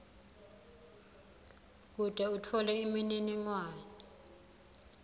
kute utfole imininingwane